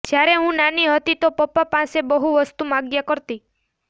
જ્યારે હું નાની હતી તો પાપ્પા પાસે બહુ વસ્તુ માંગ્યા કરતી